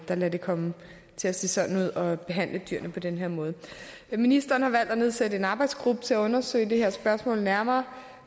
der lader det komme til at se sådan ud og behandler dyrene på den her måde ministeren har valgt at nedsætte en arbejdsgruppe til at undersøge det her spørgsmål nærmere